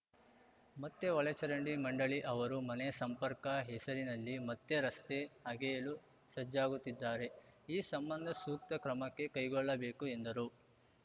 ಮತ್ತೆ ಒಳಚರಂಡಿ ಮಂಡಳಿ ಅವರು ಮನೆ ಸಂಪರ್ಕ ಹೆಸರಿನಲ್ಲಿ ಮತ್ತೆ ರಸ್ತೆ ಅಗೆಯಲು ಸಜ್ಜಾಗುತ್ತಿದ್ದಾರೆ ಈ ಸಂಬಂಧ ಸೂಕ್ತ ಕ್ರಮಕ್ಕೆ ಕೈಗೊಳ್ಳಬೇಕು ಎಂದರು